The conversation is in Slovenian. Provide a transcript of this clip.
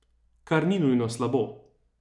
Kar ni nujno slabo.